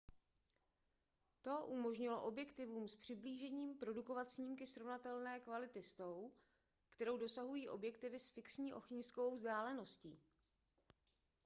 to umožnilo objektivům s přiblížením produkovat snímky srovnatelné kvality s tou kterou dosahují objektivy s fixní ohniskovou vzdáleností